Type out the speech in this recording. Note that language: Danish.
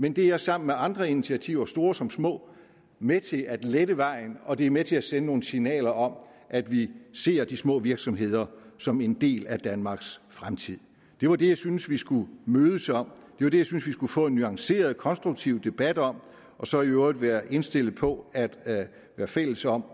men det er sammen med andre initiativer store som små med til at lette vejen og det er med til at sende nogle signaler om at vi ser de små virksomheder som en del af danmarks fremtid det var det jeg synes vi skulle mødes om det var det jeg synes vi skulle få en nuanceret konstruktiv debat om og så i øvrigt være indstillet på at være fælles om